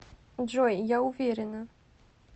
джой я уверена